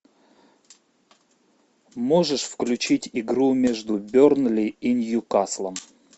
можешь включить игру между бернли и ньюкаслом